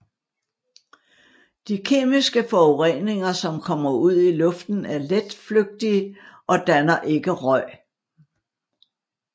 De kemiske forureninger som kommer ud i luften er letflytige og danner ikke røg